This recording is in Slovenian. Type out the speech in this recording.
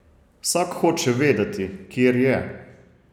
Vsak hoče vedeti, kjer je.